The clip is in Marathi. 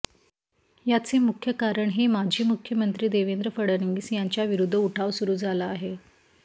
याचे मुख्य कारण हे माजी मुख्यमंत्री देवेंद्र फडणवीस यांच्या विरुध्द उठाव सुरू झाला आहे